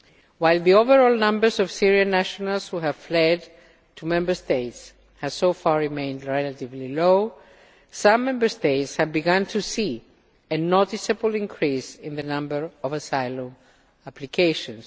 While the overall numbers of Syrian nationals who have fled to Member States has so far remained relatively low, some Member States have begun to see a noticeable increase in the number of asylum applications.